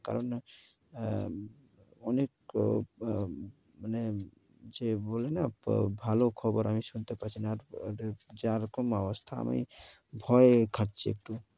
কারণ, অনেক মানে যে বলি না, ভালো খবর আমি শুনতে পারছি না, আর যা রকম অবস্থা, আমি ভয়ে থাকছি একটু।